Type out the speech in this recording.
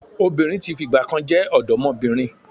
Obìnrin tí fìgbà kan jẹ́ ọ̀dọ́mọbìnrin